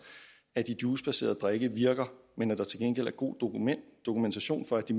at de juicebaserede drikke virker men at der til gengæld er god dokumentation for at de